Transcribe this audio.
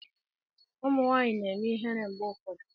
Ụmụ nwanyị na-eme ihere mgbe ụfọdụ.